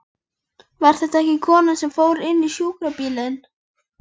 Var þetta ekki konan sem fór inn í sjúkrabílinn?